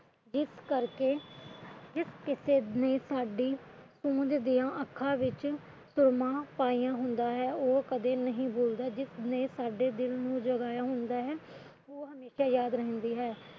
ਇਸ ਕਰਕੇ ਜਿਸ ਕਿਸੇ ਨੇ ਸਾਡੀ ਪੂੰਝਦੀਆਂ ਅੱਖਾ ਵਿੱਚ ਸੁਰਮਾ ਪਾਇਆ ਹੁੰਦਾ ਹੈ ਉਹ ਕਦੇ ਉਹ ਕਦੇ ਨਹੀ ਭੁਲਦਾ ਜਿਸ ਨੇ ਸਾਡੇ ਦਿਲ ਨੂੰ ਜਗਾਇਆ ਹੁੰਦਾ ਹੈ ਉਹ ਹਮੇਸ਼ਾ ਯਾਦ ਰਹਿੰਦੀ ਹੈ